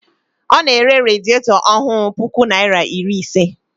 Ọ na-ere radietọ ọhụụ puku naịra iri ise.